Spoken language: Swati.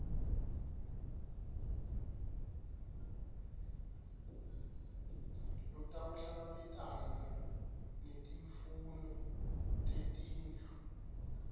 lotawuhlangabetana netimfuno tetindlu